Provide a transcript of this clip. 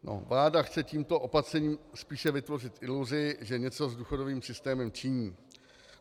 Vláda chce tímto opatřením spíše vytvořit iluzi, že něco s důchodovým systémem činí.